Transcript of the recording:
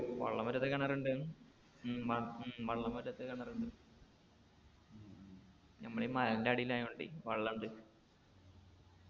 വെള്ളം വറ്റാത്ത കിണറുണ്ട് ഉം ഉം വെള്ളം വറ്റാത്ത കിണറുണ്ട് ഞമ്മളീ മലൻറെ അടീലായോണ്ടെ വെള്ളം ഉണ്ട്